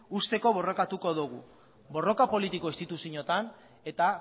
uzteko borrokatuko dugu borroka politiko instituzioetan eta